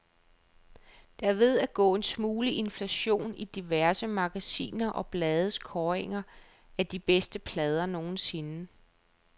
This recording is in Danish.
Der er ved at gå en smule inflation i diverse magasiner og blades kåringer af de bedste plader nogensinde.